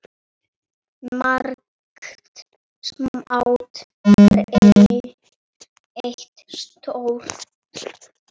Margt smátt gerir eitt stórt.